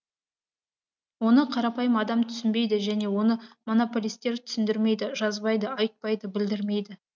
оны қарапайым адам түсінбейді және оны монополистер түсіндірмейді жазбайды айтпайды білдірмейді